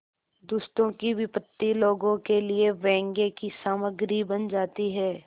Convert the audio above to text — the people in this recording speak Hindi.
दुष्टों की विपत्ति लोगों के लिए व्यंग्य की सामग्री बन जाती है